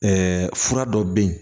fura dɔ bɛ yen